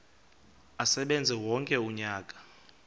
asebenze wonke umnyaka